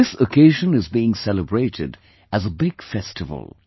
This occasion is being celebrated as a big festival